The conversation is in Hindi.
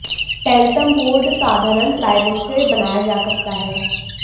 ट्रैन्सम बोर्ड साधारण प्लाईवुड से बनाया जा सकता है